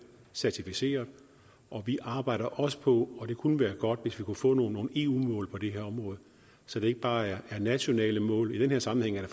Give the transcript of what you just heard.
certificeret vi arbejder også på og det kunne være godt at vi kunne få nogle eu mål på det her område så det ikke bare er nationale mål i den her sammenhæng er